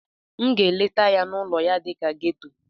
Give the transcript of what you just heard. M ga-aga letaa ya n'ụlọ ya dị na geto.